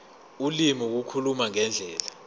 ulimi ukukhuluma ngendlela